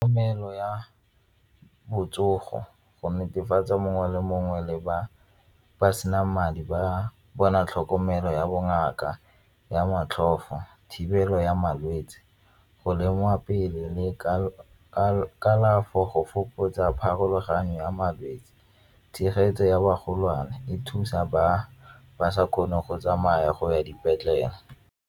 ya botsogo go netefatsa mongwe le mongwe le ba ba sena madi ba bona tlhokomelo ya bongaka ya motlhofo, thibelo ya malwetse, go lemiwa pele go fokotsa pharologano ya malwetse tshegetso ya bagolwane e thusa ba ba sa kgoneng go tsamaya go ya dipetlele.